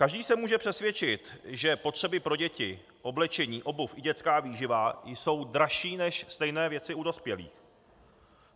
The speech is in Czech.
Každý se může přesvědčit, že potřeby pro děti, oblečení, obuv i dětská výživa, jsou dražší než stejné věci u dospělých.